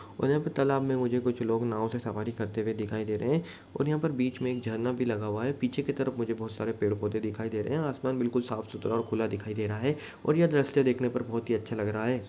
वो एक तलाब में मुझे कुछ लोग नाव से सवारी करते हुए दिखाई दे रहे हैं। और यहाँ पर बीच मे एक झरना भी लगा हुआ है। पीछे की तरफ मुझे बहुत सारे पेड- पोधे दिखाई दे रहे हैं। आसमान बिलकुल साफ- सुथरा और खुला दिखाई दे रहा है। और यह द्रश्य देखने पर बहुत ही अच्छा लग रहा है।